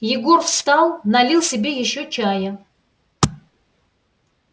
егор встал налил себе ещё чая